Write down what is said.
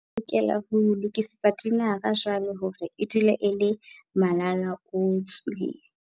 Re lokela ho lokisetsa tinara jwale hore e dule e le malalaalaotswe.